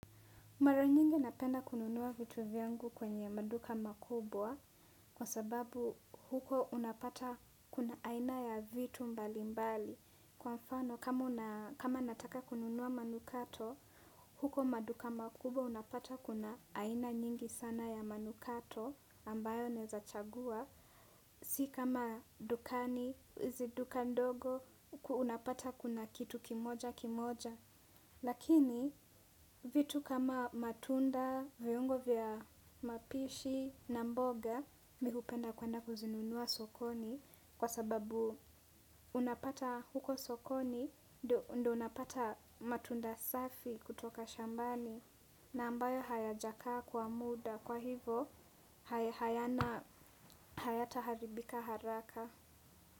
Mara nyingi napenda kununua vitu vyangu kwenye maduka makubwa kwa sababu huko unapata kuna aina ya vitu mbali mbali. Kwa mfano kama nataka kununua manukato, huko maduka makubwa unapata kuna aina nyingi sana ya manukato ambayo naeza chagua. Si kama dukani, ziduka ndogo, unapata kuna kitu kimoja kimoja. Lakini vitu kama matunda, viungo vya mapishi na mboga mihupenda kwenda kuzinunua sokoni kwa sababu unapata huko sokoni ndo unapata matunda safi kutoka shambani na ambayo haya jakaa kwa muda kwa hivo hayana hayata haribika haraka.